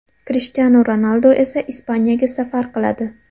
Krishtianu Ronaldu esa Ispaniyaga safar qiladi.